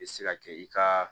I bɛ se ka kɛ i ka